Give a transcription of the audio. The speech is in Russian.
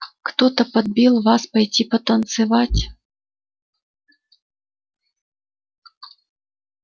кто подбил вас пойти танцевать